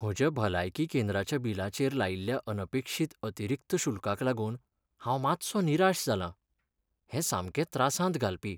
म्हज्या भलायकी केंद्राच्या बिलाचेर लायिल्ल्या अनपेक्षीत अतिरिक्त शुल्काक लागून हांव मातसो निराश जालां, हें सामकें त्रासांत घालपी.